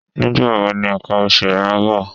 Nígbà wo ni ǹkan oṣù ẹ ń bọ̀?